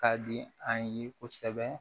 Ka di an ye kosɛbɛ